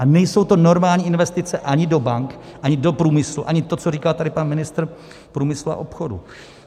A nejsou to normální investice ani do bank, ani do průmyslu, ani to, co říkal tady pan ministr průmyslu a obchodu.